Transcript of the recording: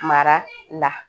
Mara la